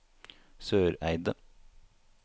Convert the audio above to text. Søreide